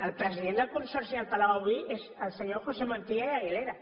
el president del consorci del palau avui és el senyor josé montilla i aguilera